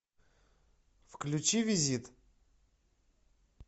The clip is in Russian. включи визит